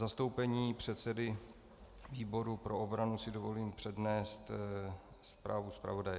V zastoupení předsedy výboru pro obranu si dovolím přednést zprávu zpravodaje.